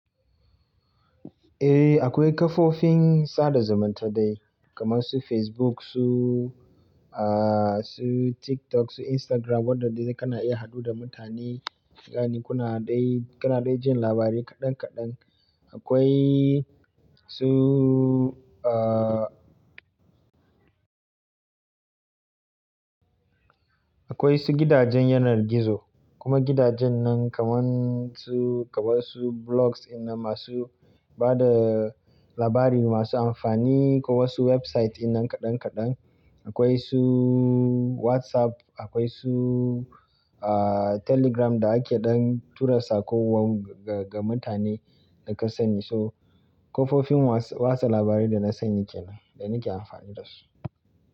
Eh akwai kafofin sada zumunta dai kamar su Facebook su, ah su TikTok, su Instagram waɗanda kana iya haɗu da mutane, ya'ani kuna dai, kana dai jin labarai kaɗan kaɗan. Akwai su ah, akwai su gidajen yanar gizo, kuma gidajen nan kamar su, kamar su blogs ɗinnan masu ba da labari masu amfani ko wasu website ɗinnan kaɗan kaɗan. Akwai su WhatsApp, akwai su ah Telegram da ake dan tura saƙo wa, ga mutane da ka sani. To kafofin watsa labarai da na sani kenan da nake amfani dasu.